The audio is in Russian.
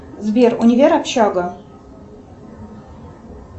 сбер универ общага